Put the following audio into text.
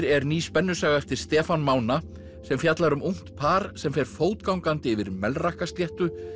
er ný spennusaga eftir Stefán Mána sem fjallar um ungt par sem fer fótgangandi yfir Melrakkasléttu